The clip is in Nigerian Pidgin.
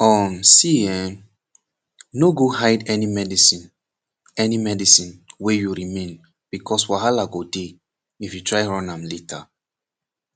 um see eh no go hide any medicine any medicine wey you remain becoz walaha go dey if you try run am later